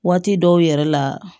Waati dɔw yɛrɛ la